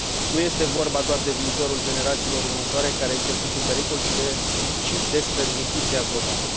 Nu este vorba doar de viitorul generațiilor următoare, care este pus în pericol, ci de spre justiția globală.